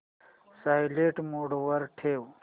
silent mode वर ठेव